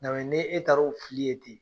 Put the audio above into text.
N y'a rɔ ni e taar'o fili yen ten.